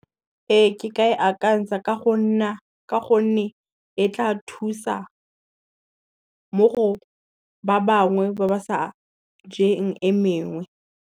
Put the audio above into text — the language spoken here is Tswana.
Ee ke ka e akantsha ka gonne e tla thusa, mo go ba bangwe ba ba sa jeng e mengwe.